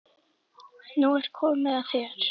Nú er komið að þér.